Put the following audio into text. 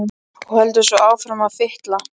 Og heldur svo áfram að fitla.